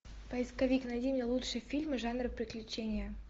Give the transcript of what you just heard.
поисковик найди мне лучшие фильмы жанра приключения